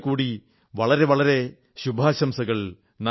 ഒരിക്കൽകൂടി വളരെ വളരെ ശുഭാശംസകൾ